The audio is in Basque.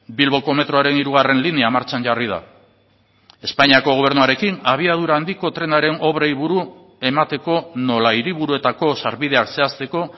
bilboko metroaren hirugarren linea martxan jarri da espainiako gobernuarekin abiadura handiko trenaren obrei buru emateko nola hiriburuetako sarbideak zehazteko